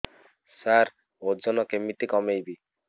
ସାର ଓଜନ କେମିତି କମେଇବି